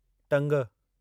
टंग